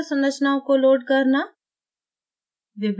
crystal संरचनाओं को load करना